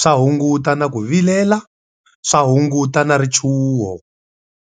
swa hunguta na ku vilela, swa hunguta na richuho.